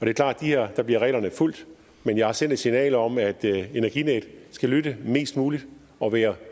er klart at her bliver reglerne fulgt men jeg har sendt et signal om at energinet skal lytte mest muligt og være